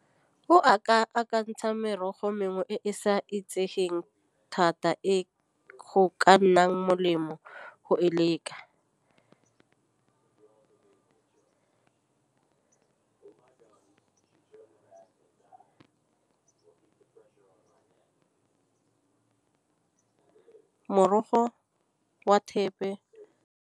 O a ka akantšhang merogo mengwe e e sa itsegeng thata e ka nnang molemo go e leka. Morogo wa thepe.